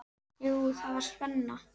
Jú, það var spenna.